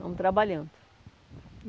Vamos trabalhando.